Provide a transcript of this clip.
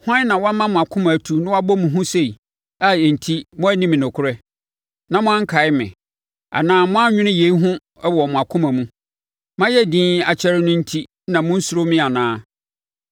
“Hwan na wama mo akoma atu na wabɔ mo hu sei a enti moanni me nokorɛ, na moankae me anaa moannwene yei ho wɔ mo akoma mu? Mayɛ dinn akyɛre no enti na monnsuro me anaa?